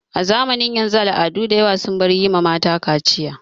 A zamanin yanzu al'adu dayawa sun bar yi ma mata kaciya.